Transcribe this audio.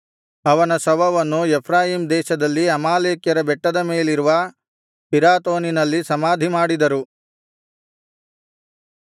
ಅವನ ಶವವನ್ನು ಎಫ್ರಾಯೀಮ್ ದೇಶದಲ್ಲಿ ಅಮಾಲೇಕ್ಯರ ಬೆಟ್ಟದ ಮೇಲಿರುವ ಪಿರಾತೋನಿನಲ್ಲಿ ಸಮಾಧಿಮಾಡಿದರು